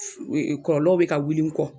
e e Kɔlɔlɔw be ka wuli n kɔ